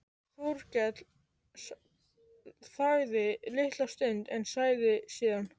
Þórkell þagði litla stund en sagði síðan